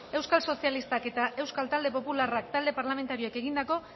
euskal sozialistak eta euskal talde popularra talde parlamentarioek egindako